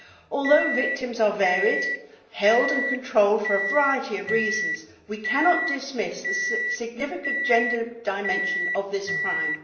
Although victims are varied, held and controlled for a variety of reasons, we cannot dismiss the significant gender dimension of this crime.